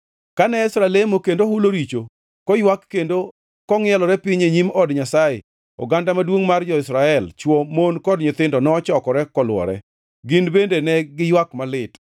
Kane Ezra lemo kendo hulo richo, koywak kendo kongʼielore piny e nyim od Nyasaye, oganda maduongʼ mar jo-Israel; chwo, mon kod nyithindo nochokore kolwore. Gin bende ne giywak malit.